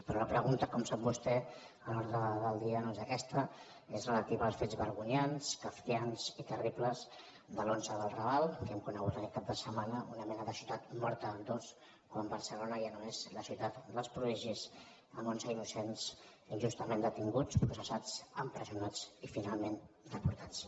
però la pregunta com sap vostè a l’ordre del dia no és aquesta és relativa als fets vergonyants kafkians i terribles dels onze del raval que hem conegut aquest cap de setmana una mena de ciutat mortabarcelona ja no és la ciutat dels prodigis amb onze innocents injustament detinguts processats empresonats i finalment deportats